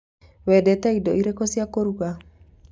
Wendete indo irĩkũ cia kũruga?